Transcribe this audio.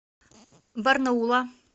барнаула